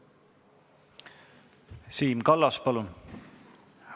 Siim Kallas, palun!